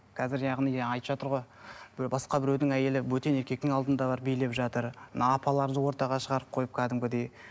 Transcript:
қазір яғни жаңа айтып жатыр ғой біреу басқа біреудің әйелі бөтен еркектің алдында барып билеп жатыр мына апаларымызды ортаға шығарып қойып кәдімгідей